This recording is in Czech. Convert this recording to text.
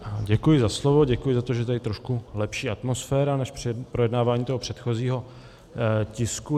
Děkuji za slovo, děkuji za to, že je tady trošku lepší atmosféra než při projednávání toho předchozího tisku.